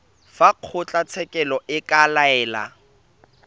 fa kgotlatshekelo e ka laela